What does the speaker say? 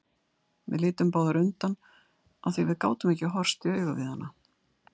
Við litum báðar undan af því að við gátum ekki horfst í augu við hana.